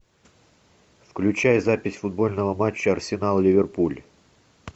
включай запись футбольного матча арсенал ливерпуль